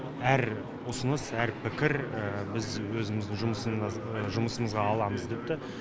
әр ұсыныс әр пікір біз өзіміздің жұмысымызға аламыз депті